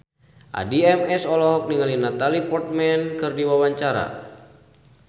Addie MS olohok ningali Natalie Portman keur diwawancara